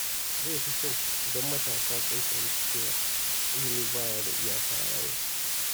Zai fi kyau idan matasa sun fahimci cewa ilimi ba ya da iyaka a rayuwa.